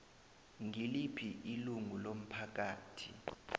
ngiliphi ilungu lomphakathi